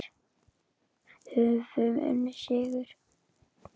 Höfum unnið sigur.